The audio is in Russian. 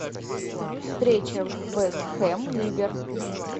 встреча вест хэм ливер